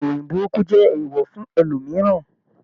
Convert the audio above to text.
Ìròyìn burúkú jẹ eewọ fún ẹlòmíràn.